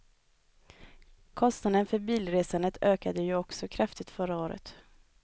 Kostnaden för bilresandet ökade ju också kraftigt förra året.